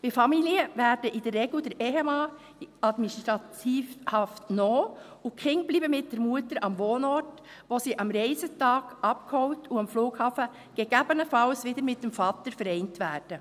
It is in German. Bei Familien wird in der Regel der Ehemann in Administrativhaft genommen, und die Kinder bleiben mit der Mutter am Wohnort, wo sie am Reisetag abgeholt und am Flughafen gegebenenfalls wieder mit dem Vater vereint werden.